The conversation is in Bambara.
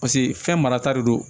Paseke fɛn marata de don